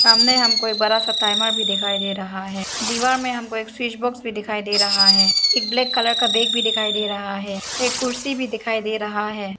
सामने हमको एक बड़ा सा टाइमर भी दिखाई दे रहा है दीवार में हमको एक स्विच बॉक्स में भी दिखाई दे रहा है एक ब्लैक कलर का बैग भी दिखाई दे रहा है एक कुर्सी भी दिखाई दे रहा है।